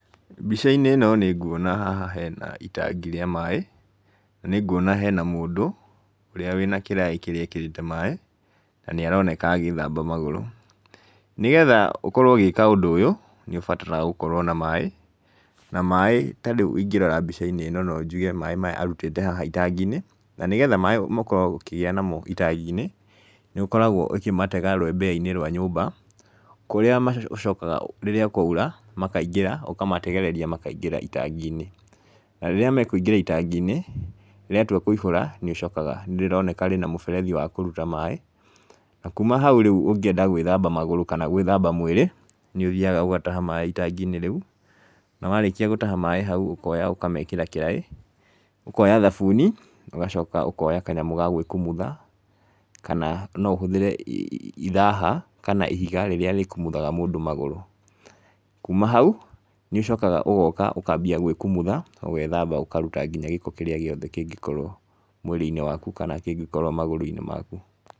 Mbica-inĩ ĩno nĩ nguona haha hena itangia rĩa maaĩ, nĩ nguona hena mũndũ, ũrĩa wĩna kĩraĩ kĩrĩa ekĩrĩte maaĩ, na nĩ aroneka agĩthamba magũrũ. Nĩgetha ũkorwo ũgĩka ũndũ ũyũ, nĩ ũbataraga gũkorwo na maaĩ, na maaĩ ta rĩu ingĩrora mbica-inĩ ĩno no njuge maaĩ maya arutĩte haha itangi-inĩ. Na nĩgetha maaĩ ũkorwo ũkĩgĩa namo itangi-inĩ, nĩ ũkorwo ũkĩmatega rũembeya-inĩ rwa nyũmba, kũrĩa macokaga rĩrĩa kwaura, makaingĩra, ũkamategereria makaingĩra itangi-inĩ. Na rĩrĩa mekũingĩra itangi-inĩ, rĩatua kũihũra, nĩ ũcokaga nĩ rĩroneka rĩna mũberethi wa kũruta maaĩ. Na kuuma hau rĩu ũngĩenda gwĩthamba magũrũ kana gwĩthamba mwĩrĩ, nĩ ũthiaga ũgataha maaĩ itangi-inĩ rĩu, na warĩkia gũtaha maaĩ hau ũkoya ũkamekĩra kĩraĩ, ũkoya thabuni, ũgacoka ũkoya kanyamũ ga gwĩkumutha, kana no ũhũthĩre ithaha, kana ihiga rĩrĩa rĩkumuthaga mũndũ magũrũ. Kuuma hau, nĩ ũcokaga ũgoka ũkambia gwĩkumutha, ũgethamba ũkaruta nginya gĩko kĩrĩa gĩothe kĩngĩkorwo mwĩrĩ-inĩ waku, kana kĩngĩkorwo magũrũ-inĩ maku.